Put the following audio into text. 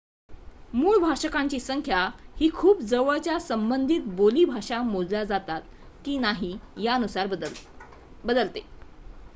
मूळ भाषकांची संख्या ही खूप जवळच्या संबंधित बोली भाषा मोजल्या जातात की नाहीत यानुसार बदलते